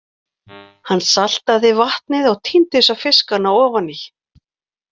Hann saltaði vatnið og tíndi svo fiskana ofaní.